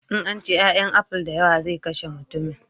In an ci 'ya'yan aful da yawa zai kashe mutummin